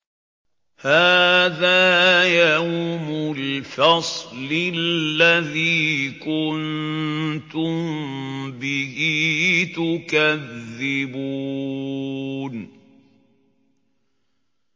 هَٰذَا يَوْمُ الْفَصْلِ الَّذِي كُنتُم بِهِ تُكَذِّبُونَ